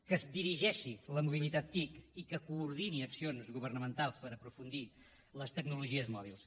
que es dirigeixi la mobilitat tic i que coordini accions governamentals per aprofundir les tecnologies mòbils